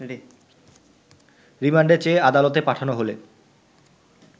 রিমান্ডে চেয়ে আদালতে পাঠানো হলে